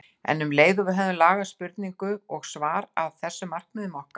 En um leið höfum við lagað spurningu og svar að þessum markmiðum okkar.